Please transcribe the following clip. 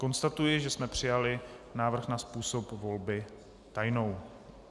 Konstatuji, že jsme přijali návrh na způsob volby tajnou.